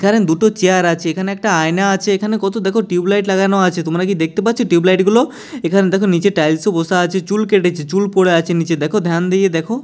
এখানে দুটো চেয়ার আছে এখানে একটা আয়না আছে এখানে কত দেখো টিউব লাইট লাগানো আছে তোমরা কি দেখতে পাচ্ছো টিউব লাইট গুলো এখানে দেখো নিচে টাইলস বসা আছে চুল কেটেছে চুল পরে আছে নিচে দেখো ধ্যান দিয়ে দেখো।